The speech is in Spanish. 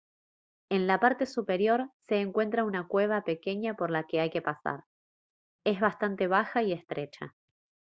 en la parte superior se encuentra una cueva pequeña por la que hay que pasar es bastante baja y estrecha